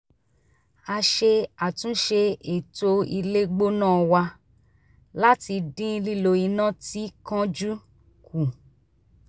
a ṣe àtúnṣe ètò ilé gbóná wa láti dín lílò iná tí kánjú kù